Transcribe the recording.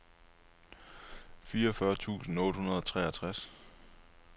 fireogfyrre tusind otte hundrede og treogtres